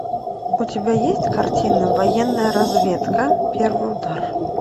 у тебя есть картина военная разведка первый удар